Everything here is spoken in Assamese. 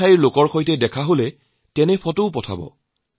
তাৰ মানুহৰ সৈতে পৰিচয় হলে তেওঁলোকৰো ছবি পঠাওক